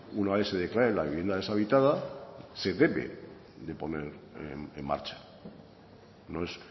una vez que declare la vivienda deshabitada se debe de poner en marcha no es